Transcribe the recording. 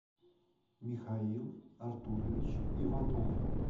михаил артурович иванов